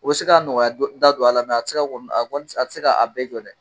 O bɛ se k'a nɔgɔya da don a la, a tɛ ka k'a bɛɛ jɔ dɛ